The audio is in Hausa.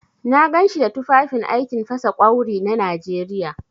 Na ganshi da tufafin aikin fasa ƙwawri na Najeriya.